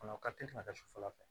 O ka teli ka kɛ sufɛla fɛ